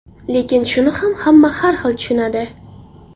Lekin shuni ham hamma har xil tushunadi.